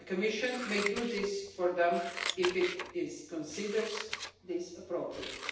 The Commission may do this for them if it considers this appropriate.